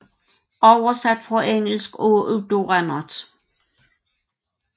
Oversat fra engelsk af Udo Rennert